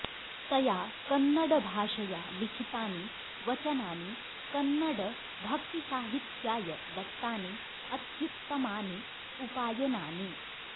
तया कन्नडभाषया लिखितानि वचनानि कन्नडभक्तिसाहित्याय दत्तानि अत्युत्तमानि उपायनानि